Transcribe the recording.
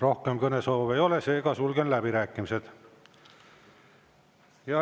Rohkem kõnesoove ei ole, seega sulgen läbirääkimised.